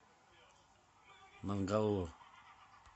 мангалур